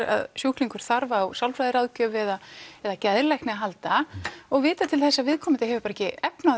að sjúklingur þarf á sálfræðiráðgjöf eða eða geðlækni að halda og vita til þess að viðkomandi hefur ekki efni